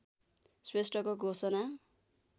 श्रेष्ठको घोषणा